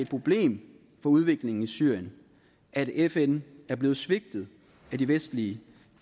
problem for udviklingen i syrien at fn er blevet svigtet af de vestlige